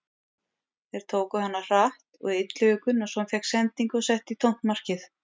Þeir tóku hana hratt og Illugi Gunnarsson fékk sendingu og setti í tómt markið.